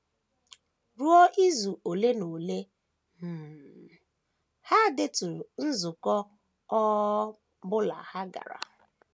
Ruo izu ole na ole, um ha deturu nzukọ ọ um bụla ha gara.